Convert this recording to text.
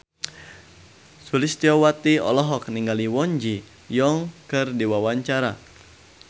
Sulistyowati olohok ningali Kwon Ji Yong keur diwawancara